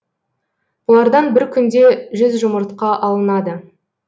бұлардан бір күнде жүз жұмыртқа алынады